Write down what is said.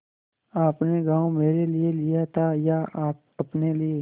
आपने गॉँव मेरे लिये लिया था या अपने लिए